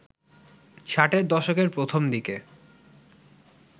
ষাটের দশকের প্রথম দিকে